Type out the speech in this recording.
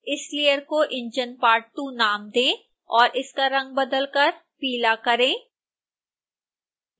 इस लेयर को enginepart2 नाम दें और इसका रंग बदलकर पीला करें